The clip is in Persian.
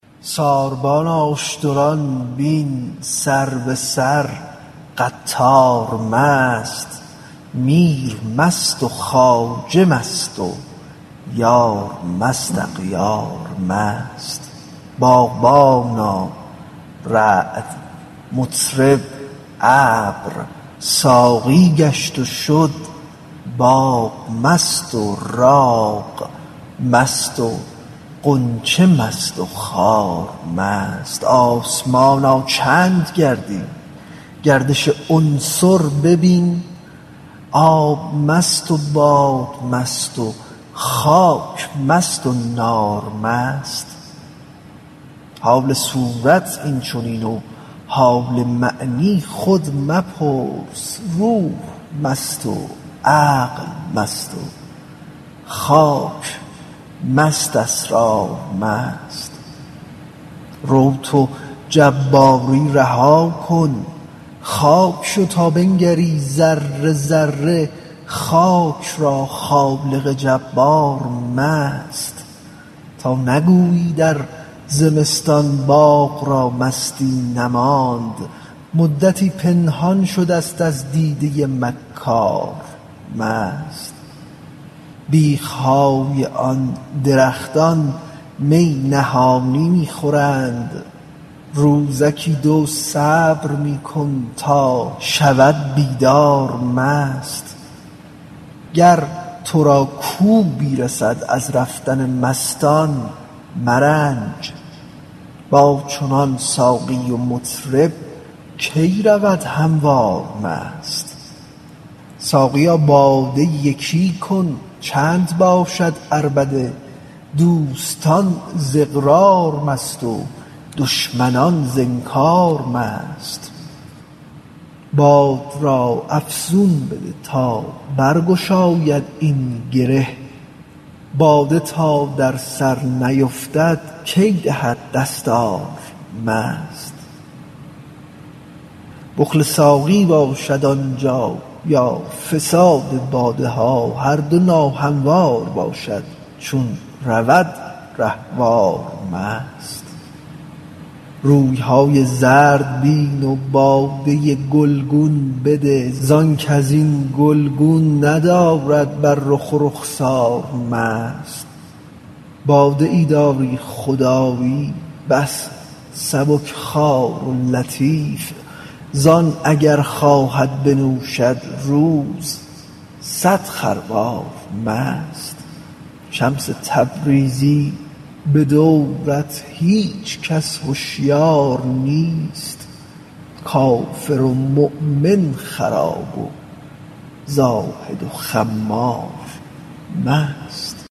ساربانا اشتران بین سر به سر قطار مست میر مست و خواجه مست و یار مست اغیار مست باغبانا رعد مطرب ابر ساقی گشت و شد باغ مست و راغ مست و غنچه مست و خار مست آسمانا چند گردی گردش عنصر ببین آب مست و باد مست و خاک مست و نار مست حال صورت این چنین و حال معنی خود مپرس روح مست و عقل مست و خاک مست اسرار مست رو تو جباری رها کن خاک شو تا بنگری ذره ذره خاک را از خالق جبار مست تا نگویی در زمستان باغ را مستی نماند مدتی پنهان شدست از دیده مکار مست بیخ های آن درختان می نهانی می خورند روزکی دو صبر می کن تا شود بیدار مست گر تو را کوبی رسد از رفتن مستان مرنج با چنان ساقی و مطرب کی رود هموار مست ساقیا باده یکی کن چند باشد عربده دوستان ز اقرار مست و دشمنان ز انکار مست باد را افزون بده تا برگشاید این گره باده تا در سر نیفتد کی دهد دستار مست بخل ساقی باشد آن جا یا فساد باده ها هر دو ناهموار باشد چون رود رهوار مست روی های زرد بین و باده گلگون بده زانک از این گلگون ندارد بر رخ و رخسار مست باده ای داری خدایی بس سبک خوار و لطیف زان اگر خواهد بنوشد روز صد خروار مست شمس تبریزی به دورت هیچ کس هشیار نیست کافر و مؤمن خراب و زاهد و خمار مست